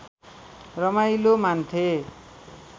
रमाइलो मान्थे